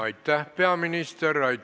Aitäh, peaminister!